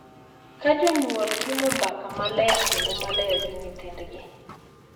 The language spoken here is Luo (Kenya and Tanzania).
Ka jonyuol timo mbaka maler kendo maler gi nyithindgi,